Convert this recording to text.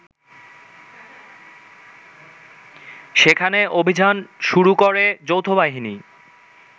সেখানে অভিযান শুরু করে যৌথবাহিনী